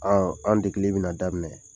Ɔ an degeli bɛna daminɛ.